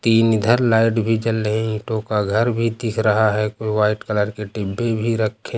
तीन इधर लाइट भी जल रही हैं। ईंटों का घर भी दिख रहा है। कोई व्हाइट कलर के डिब्बे भी रखे --